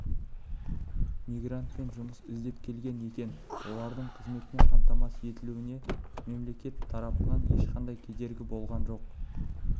мигрант жұмыс іздеп келген екен олардың қызметпен қамтамасыз етілуіне мемлекет тарапынан ешқандай кедергі болған жоқ